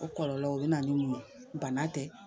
O kɔlɔlɔ o bɛna ni mun ye bana tɛ